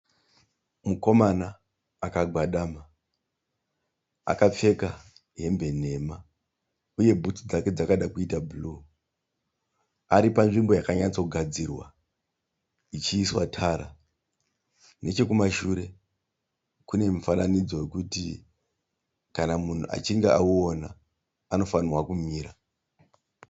Mukomana akagwadama, akapfeka hembe nhema, uye bhutsu dzake dzakada kuita bhuruwu. Aripanzvimbo yakatsogadzirwa ichiiswa tara. Nechekumashure kenemufananidzo wekuti kana munhu achinge auona anofarirwa kumira.